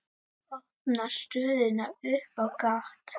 Opnar stöðuna upp á gátt.